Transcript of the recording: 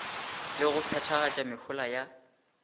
le go phethagatša mehola ya